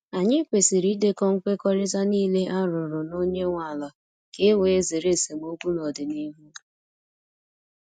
Anyị kwesịrị idekọ nkwekọrịta niile a rụrụ na onye nwe ala ka e wee zere esemokwu n’ọdịnihu.